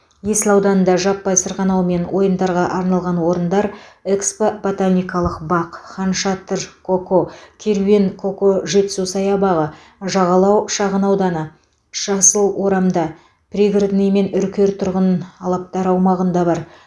есіл ауданында жаппай сырғанау мен ойындарға арналған орындар экспо ботаникалық бақ хан шатыр сосо керуен сосо жетісу саябағы жағалау шағын ауданы жасыл орамда пригородный мен үркер тұрғын алаптары аумағында бар